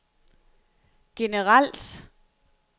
generelt